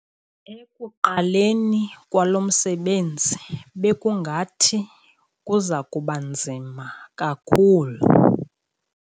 Ekuqaleni kwalo msebenzi bekungathi kuza kuba nzima kakhulu.